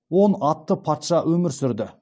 он атты патша өмір сүрді